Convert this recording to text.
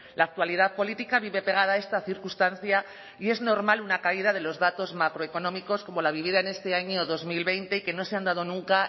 la actualidad política vive pegada a esta circunstancia y es normal una caída de los datos macroeconómicos como la vivida en este año dos mil veinte que no se han dado nunca